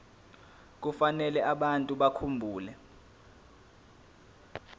kufanele abantu bakhumbule